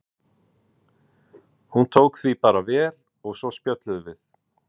Hún tók því bara vel og svo spjölluðum við.